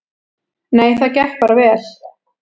Nei, það gekk bara vel.